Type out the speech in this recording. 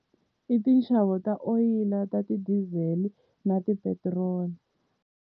I tinxavo ta oyili, ta ti-diesel na tipetiroli.